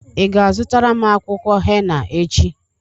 Ị ga-azụtara m akwụkwọ hena echi?